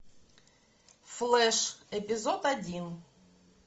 флэш эпизод один